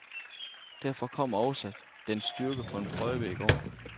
Derfor kom også dens styrke på en prøve i går.